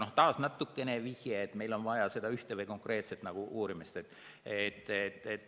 Aga taas nagu vihje, et meil on vaja seda ühte konkreetset uurimist.